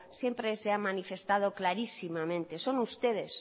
siempre se ha manifestado clarísimamente son ustedes